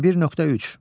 21.3.